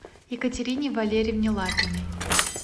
екатерине валерьевне лапиной